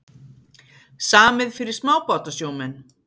Samið fyrir smábátasjómenn